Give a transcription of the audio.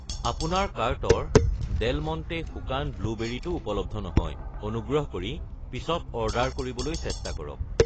আপোনাৰ কাৰ্টৰ Del Monte শুকাণ ব্লুবেৰি টো উপলব্ধ নহয়, অনুগ্ৰহ কৰি পিছত অৰ্ডাৰ কৰিবলৈ চেষ্টা কৰক।